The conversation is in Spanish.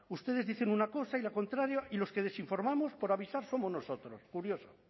ustedes dicen una cosa y la contraria y los que les informamos por avisar somos nosotros curioso